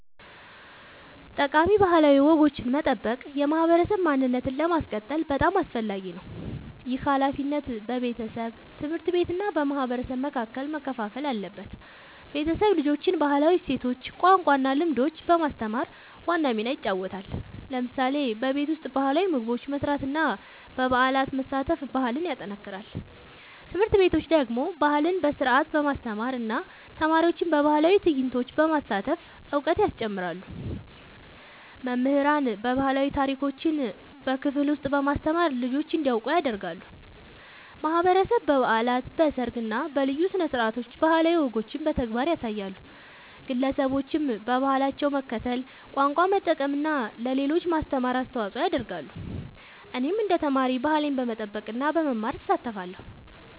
ጠቃሚ ባህላዊ ወጎችን መጠበቅ የማህበረሰብ ማንነትን ለማስቀጠል በጣም አስፈላጊ ነው። ይህ ሃላፊነት በቤተሰብ፣ ትምህርት ቤት እና በማህበረሰብ መካከል መከፋፈል አለበት። ቤተሰብ ልጆችን ባህላዊ እሴቶች፣ ቋንቋ እና ልምዶች በማስተማር ዋና ሚና ይጫወታል። ለምሳሌ በቤት ውስጥ ባህላዊ ምግቦች መስራት እና በበዓላት መሳተፍ ባህልን ያጠናክራል። ትምህርት ቤቶች ደግሞ ባህልን በስርዓት በማስተማር እና ተማሪዎችን በባህላዊ ትዕይንቶች በማሳተፍ እውቀት ያስጨምራሉ። መምህራን ባህላዊ ታሪኮችን በክፍል ውስጥ በማስተማር ልጆች እንዲያውቁ ያደርጋሉ። ማህበረሰብ በበዓላት፣ በሰርግ እና በልዩ ስነ-ስርዓቶች ባህላዊ ወጎችን በተግባር ያሳያል። ግለሰቦችም በባህላቸው መከተል፣ ቋንቋ መጠቀም እና ለሌሎች ማስተማር አስተዋጽኦ ያደርጋሉ። እኔም እንደ ተማሪ ባህሌን በመጠበቅ እና በመማር እሳተፋለሁ።